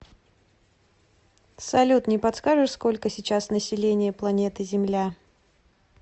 салют не подскажешь сколько сейчас население планеты земля